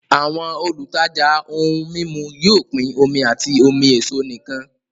Àwọn olùtajà ohun mímu yóò pín omi àti omi èso nìkan